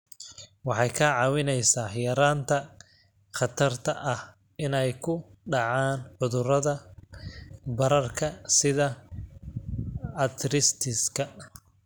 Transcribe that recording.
Waxay kaa caawinaysaa yaraynta khatarta ah inay ku dhacaan cudurrada bararka sida arthritis-ka.